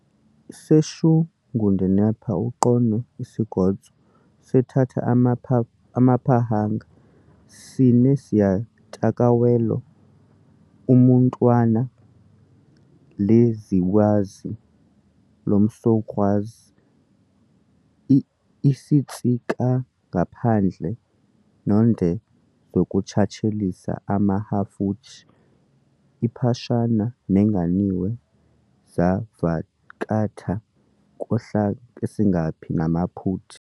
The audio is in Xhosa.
seShungudanipa uqonwe isingodzo, seTthatha amanyePhahanga sineZivyatakalewalo uMunwata leZiWazi leMsokgwazi isitsikangaphandla noNde zinokuthatshelisa a-khahafutshi iphashana nanganiwe zavhakatha khohlasiniNgaphi namaphuti